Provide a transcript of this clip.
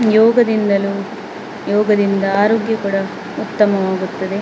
ಯೋಗದಿಂದನು ಯೋಗದಿಂದ ಆರೋಗ್ಯ ಕೂಡ ಉತ್ತಮವಾಗುತ್ತದೆ ]>.